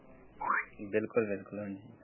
ਬਿਲਕੁਲ ਬਿਲਕੁਲ ਹਾਂਜ਼ੀ ।